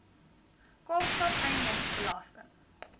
kaapstad eiendoms belasting